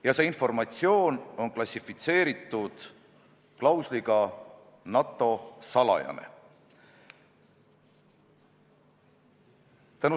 Ja see informatsioon on klassifitseeritud klausliga "NATO salajane".